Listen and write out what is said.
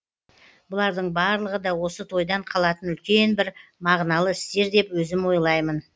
бұлардың барлығы да осы тойдан қалатын үлкен бір мағыналы істер деп өзім ойлаймын